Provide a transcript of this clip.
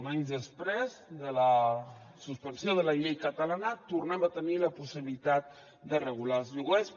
uns anys després de la suspensió de la llei catalana tornem a tenir la possibilitat de regular els lloguers